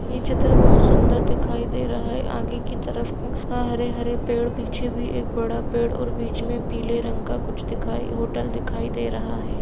ये चित्र बहुत सूंदर दिखाई दे रहा है आगे की तरफ हरे हरे पेड़ पीछे भी एक बड़ा पेड़ और बीच में पीले रंग का कुछ दिखाई- होटल भी दिखाई दे रहा है।